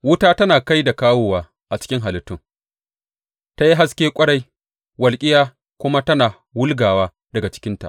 Wuta tana kai da kawowa a cikin halittun; ta yi haske ƙwarai, walƙiya kuma tana wulgawa daga cikinta.